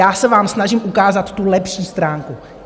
Já se vám snažím ukázat tu lepší stránku.